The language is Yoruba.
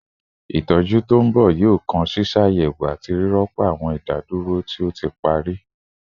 Itọju to nbọ yoo kan ṣiṣayẹwo ati rirọpo awọn idaduro ti o ti pari